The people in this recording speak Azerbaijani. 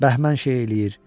bəhmən şeyi eləyir.